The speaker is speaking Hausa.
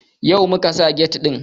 Yau muka sa get ɗin